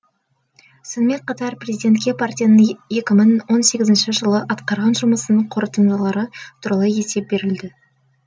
сонымен қатар президентке партияның екі мың он сегізінші жылы атқарған жұмысының қорытындылары туралы есеп берілді